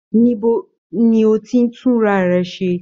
Níbo ní o tí tunrarẹ̀ ṣe?